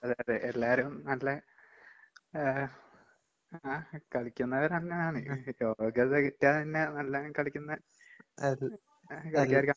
അതെയതെ. എല്ലാരും നല്ല ആഹ് ആഹ് കളിക്കുന്നവരങ്ങനാണ് യോഗ്യത കിട്ടിയതന്നെ നല്ലോണം കളിക്കുന്ന കളിക്കാര്ക്കാ.